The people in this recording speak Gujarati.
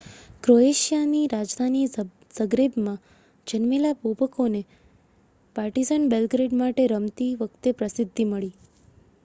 ક્રોએશિયાની રાજધાની ઝગ્રેબમાં જન્મેલા બોબેકને પાર્ટિઝન બેલ્ગ્રેડ માટે રમતી વખતે પ્રસિદ્ધિ મળી